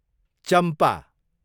चम्पा